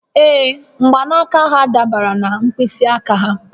Ee, mgbanaka ha dabara na mkpịsị aka ha